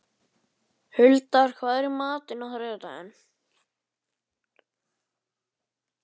Huldar, hvað er í matinn á þriðjudaginn?